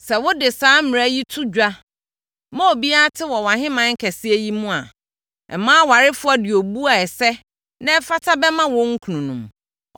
Sɛ wɔde saa mmara yi to dwa, ma obiara te wɔ wʼahemman kɛseɛ yi mu a, mmaa awarefoɔ de obuo a ɛsɛ na ɛfata bɛma wɔn kununom.”